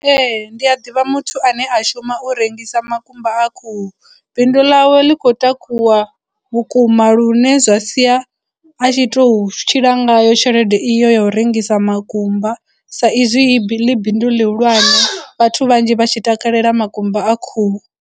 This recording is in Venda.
Ee ndi a ḓivha muthu ane a shuma u rengisa makumba a khuhu bindu ḽawe ḽi khou takuwa vhukuma lune zwa sia a tshi tou tshila ngayo tshelede iyo ya u rengisa makumba sa izwi ḽi bindu ḽihulwane vhathu vhanzhi vha tshi takalela makumba a khuhu.